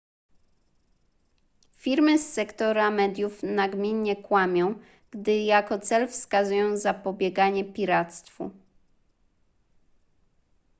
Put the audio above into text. firmy z sektora mediów nagminnie kłamią gdy jako cel wskazują zapobieganie piractwu